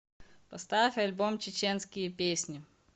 поставь альбом чеченские песни